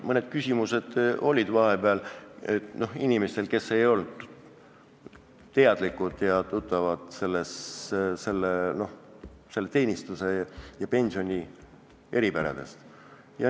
Mõned küsimused olid neil, kes ei olnud teadlikud selle teenistuse ja pensioni eripäradest.